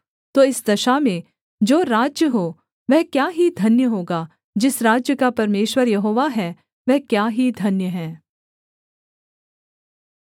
तो इस दशा में जो राज्य हो वह क्या ही धन्य होगा जिस राज्य का परमेश्वर यहोवा है वह क्या ही धन्य है